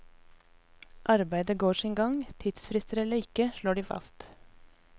Arbeidet går sin gang, tidsfrister eller ikke, slår de fast.